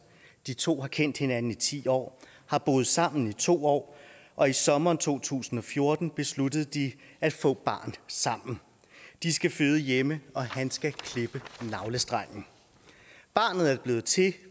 de to har kendt hinanden i ti år har boet sammen i to år og i sommeren to tusind og fjorten besluttede de at få barn sammen de skal føde hjemme og han skal klippe navlestrengen barnet er blevet til